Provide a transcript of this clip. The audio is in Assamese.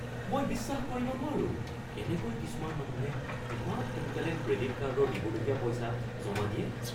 মই বিশ্বাস কৰিব নোৱাৰো কেনেকৈ কিছুমান মানুহে ইমান সোনকালে ক্ৰেডিট কাৰ্ডৰ দিবলগীয়া পইচা জমা দিয়ে।